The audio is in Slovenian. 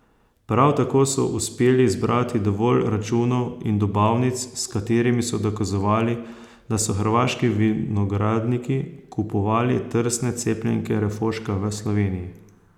Prav tako so uspeli zbrati dovolj računov in dobavnic, s katerimi so dokazovali, da so hrvaški vinogradniki kupovali trsne cepljenke refoška v Sloveniji.